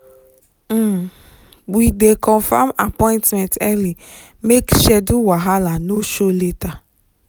we dey confirm appointment early make schedule wahala no show later.